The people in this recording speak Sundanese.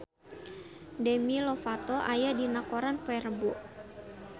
Demi Lovato aya dina koran poe Rebo